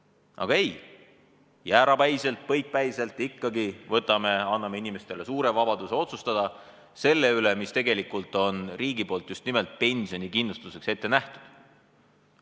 Aga ei, jäärapäiselt, põikpäiselt ikkagi anname inimestele suure vabaduse otsustada selle üle, mis tegelikult on riigi poolt just nimelt pensionikindlustuseks ette nähtud.